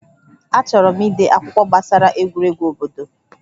Achọrọ m ide akwụkwọ gbasara egwuregwu obodo